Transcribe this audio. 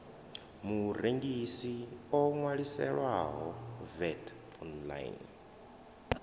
murengisi o ṅwaliselwaho vat online